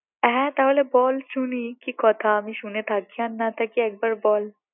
হ্যাঁ তাহলে বল শুনি কি কথা আমি শুনে থাকি আর না থাকি একবার বল